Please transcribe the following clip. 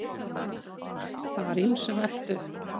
Það var ýmsu velt upp.